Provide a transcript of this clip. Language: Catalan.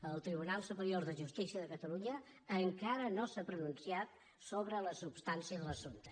el tribunal superior de justícia de catalunya encara no s’ha pronunciat so·bre la substància de l’assumpte